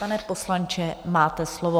Pane poslanče, máte slovo.